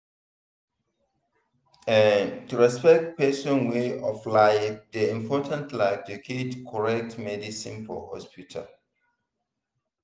ehnn to respect person way of life dey important like to get correct medicine for hospital